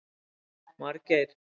Margeir